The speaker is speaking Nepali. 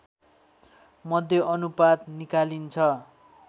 मध्य अनुपात निकालिन्छ